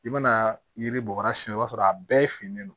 I mana yiri bɔgɔ sira si b'a sɔrɔ a bɛɛ finnen don